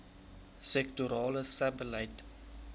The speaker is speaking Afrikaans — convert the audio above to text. sektorale sebbeleid